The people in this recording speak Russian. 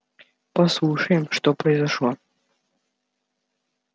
послушаем что произошло